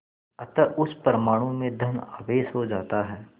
अतः उस परमाणु में धन आवेश हो जाता है